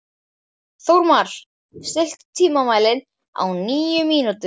Þórmar, stilltu tímamælinn á níu mínútur.